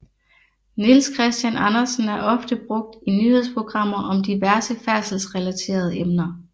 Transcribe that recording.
Niels Christian Andersen er ofte brugt i nyhedsprogrammer om diverse færdselsreleterede emner